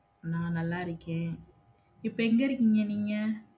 உம் நல்லா இருக்கேன் இப்போ எங்க இருக்கீங்க நீங்க?